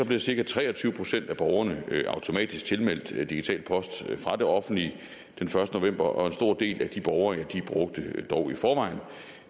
blev cirka tre og tyve procent af borgerne automatisk tilmeldt digital post fra det offentlige den første november og en stor del af de borgere brugte dog i forvejen